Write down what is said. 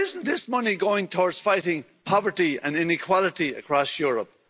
Why isn't this money going towards fighting poverty and inequality across Europe?